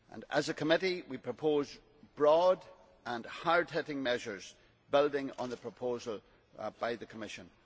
As a committee we proposed broad and hard hitting measures building on the proposal by the Commission.